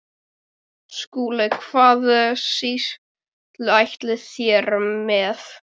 SKÚLI: Hvaða sýslu ætlið þér mér?